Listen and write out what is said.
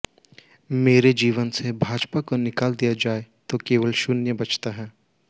मेरे जीवन से भाजपा को निकाल दिया जाए तो केवल शून्य बचता है